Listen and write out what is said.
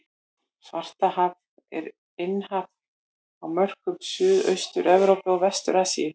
Svartahaf er innhaf á mörkum Suðaustur-Evrópu og Vestur-Asíu.